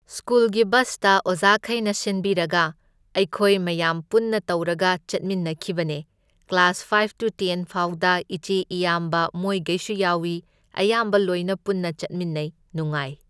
ꯁ꯭ꯀꯨꯜꯒꯤ ꯕꯁꯇ ꯑꯣꯖꯥꯈꯩꯅ ꯁꯤꯟꯕꯤꯔꯒ ꯑꯩꯈꯣꯏ ꯃꯌꯥꯝ ꯄꯨꯟꯅ ꯇꯧꯔꯒ ꯆꯠꯃꯤꯟꯅꯈꯤꯕꯅꯦ ꯀ꯭ꯂꯥꯁ ꯐꯥꯢꯐ ꯇꯨ ꯇꯦꯟ ꯐꯥꯎꯗ ꯏꯆꯦ ꯏꯌꯥꯝꯕ ꯃꯣꯏꯒꯩꯁꯨ ꯌꯥꯎꯢ ꯑꯌꯥꯝꯕ ꯂꯣꯏꯅ ꯄꯨꯟꯅ ꯆꯠꯃꯤꯟꯅꯩ ꯅꯨꯡꯉꯥꯏ